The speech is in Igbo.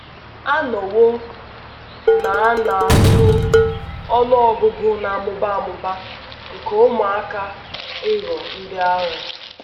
A nọwo na na - azụ ọnụ ọgụgụ na - amụba amụba nke ụmụaka ịghọ ndị agha.